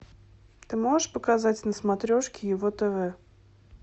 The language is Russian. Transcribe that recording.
ты можешь показать на смотрешке его тв